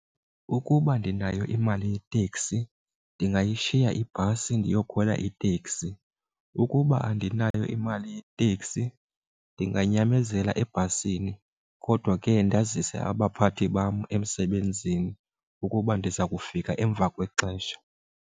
Ukuba ndinayo imali yeteksi ndingayishiya ibhasi ndiyokhwela iteksi. Ukuba andinayo imali yeteksi ndinganyamezela ebhasini kodwa ke ndazise abaphathi bam emsebenzini ukuba ndiza kufika emva kwexesha.